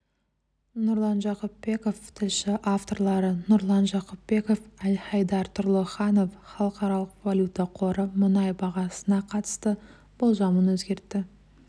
нұрлан жақыпбеков тілші авторлары нұрлан жақыпбеков әлхайдар тұрлыханов халықаралық валюта қоры мұнай бағасына қатысты болжамын өзгертті